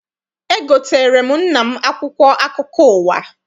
Egoteere m nna m akwụkwọ akụkọ ụwa.